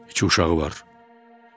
Üç uşağı var.